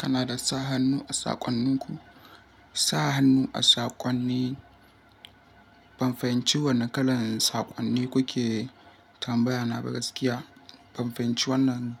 Kana da sa hannu a saƙonninku? Sa hannu a saƙonni. Ban fahimci wane kalan saƙonni kuke tambaya na ba gaskiya. Ban fahimci wannan